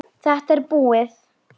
Þetta er búið!